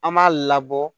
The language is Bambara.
An b'a labɔ